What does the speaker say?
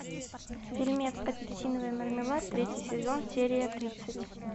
фильмец апельсиновый мармелад третий сезон серия тридцать